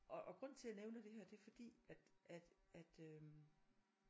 Og og grunden til jeg nævner det her det fordi at at at øh